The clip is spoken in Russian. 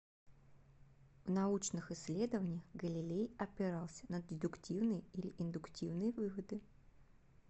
в научных исследованиях галилей опирался на дедуктивные или индуктивные выводы